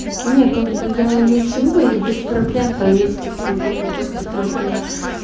не как бы я ничего и без проблем там едете к друг другу в гости просто я